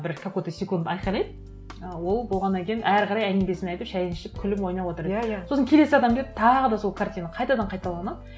бір какой то секунд айқайлайды і ол болғаннан кейін әрі қарай әңгімесін айтып шайын ішіп күліп ойнап отырады сосын келесі адам келеді тағы да сол картина қайтадан қайталанады